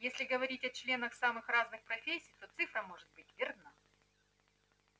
если говорить о членах самых разных профессий то цифра может быть верна